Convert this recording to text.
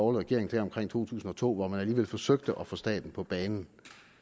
regering omkring to tusind og to hvor man alligevel forsøgte at få staten på banen